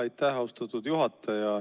Aitäh, austatud juhataja!